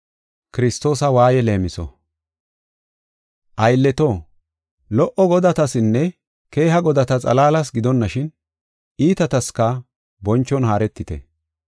Aylleto lo77o godatasinne keeha godata xalaalas gidonashin, iitataska bonchon haaretite.